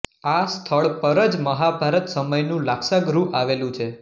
આ સ્થળ પર જ મહાભારત સમયનું લાક્ષાગૃહ આવેલું છે